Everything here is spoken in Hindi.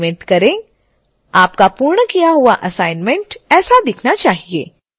आपका पूर्ण किया हुआ असाइनमेंट ऐसा दिखाई देना चाहिए